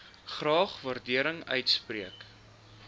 graag waardering uitspreek